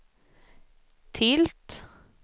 tilt